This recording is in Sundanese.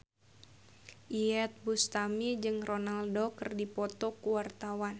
Iyeth Bustami jeung Ronaldo keur dipoto ku wartawan